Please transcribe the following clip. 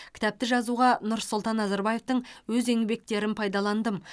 кітапты жазуға нұрсұлтан назарбаевтың өз еңбектерін пайдаландым